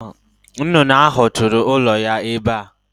Nnụnụ ahụ tụrụ ụlọ ya ebe a.